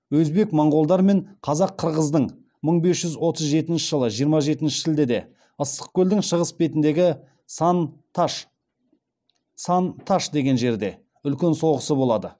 өзбек моғолдар мен қазақ қырғыздың мың бес жүз отыз жетінші жылы жиырма жетінші шілдеде ыстықкөлдің шығыс бетіндегі сан таш деген жерде үлкен соғысы болады